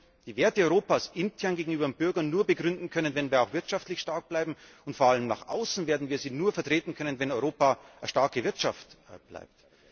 Wir werden die Werte Europas intern gegenüber dem Bürger nur begründen können, wenn wir auch wirtschaftlich stark bleiben, und vor allem nach außen werden wir sie nur vertreten können, wenn Europa eine starke Wirtschaft bleibt.